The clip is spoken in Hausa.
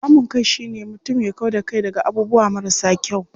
Kamun kai shine mutum ya kau da kai daga abubuwa marasa kyau.